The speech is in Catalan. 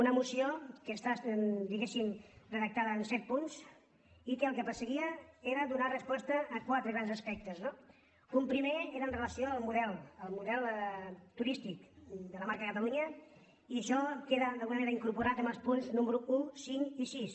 una moció que està diguéssim redactada en set punts i que el que perseguia era donar resposta a quatre grans aspectes no un primer era en relació amb el model el model tu·rístic de la marca catalunya i això queda d’alguna manera incorporat en els punts números un cinc i sis